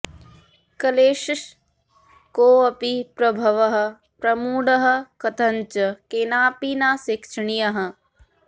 कलेस्स कोऽपि प्रभवः प्रमूढः कथञ्च केनापि न शिक्षणीयः